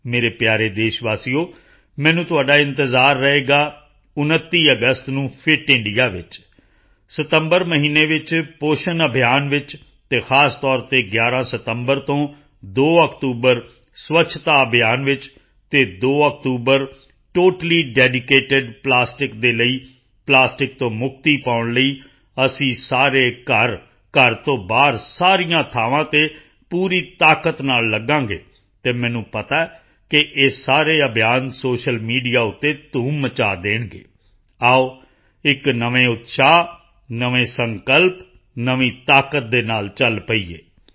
ਮੇਰੇ ਪਿਆਰੇ ਦੇਸ਼ਵਾਸੀਓ ਮੈਨੂੰ ਤੁਹਾਡਾ ਇੰਤਜ਼ਾਰ ਰਹੇਗਾ 29 ਅਗਸਤ ਨੂੰ ਫਿਟ ਇੰਡੀਆ ਵਿੱਚ ਸਤੰਬਰ ਮਹੀਨੇ ਵਿੱਚ ਪੋਸ਼ਣ ਅਭਿਆਨ ਵਿੱਚ ਅਤੇ ਖਾਸ ਤੌਰ ਤੇ 11 ਸਤੰਬਰ ਤੋਂ 2 ਅਕਤੂਬਰ ਸਵੱਛਤਾ ਅਭਿਆਨ ਵਿੱਚ ਅਤੇ 2 ਅਕਤੂਬਰ ਟੋਟਲੀ ਡੈਡੀਕੇਟਿਡ ਪਲਾਸਟਿਕ ਦੇ ਲਈ ਪਲਾਸਟਿਕ ਤੋਂ ਮੁਕਤੀ ਪਾਉਣ ਲਈ ਅਸੀਂ ਸਾਰੇ ਘਰ ਘਰ ਤੋਂ ਬਾਹਰ ਸਾਰੀਆਂ ਥਾਵਾਂ ਤੇ ਪੂਰੀ ਤਾਕਤ ਨਾਲ ਲੱਗਾਂਗੇ ਅਤੇ ਮੈਨੂੰ ਪਤਾ ਹੈ ਕਿ ਇਹ ਸਾਰੇ ਅਭਿਆਨ ਸੋਸ਼ਲ ਮੀਡੀਆ ਤੇ ਧੂਮ ਮਚਾ ਦੇਣਗੇ ਆਓ ਇੱਕ ਨਵੇਂ ਉਤਸ਼ਾਹ ਨਵੇਂ ਸੰਕਲਪ ਨਵੀਂ ਤਾਕਤ ਦੇ ਨਾਲ ਚਲ ਪਈਏ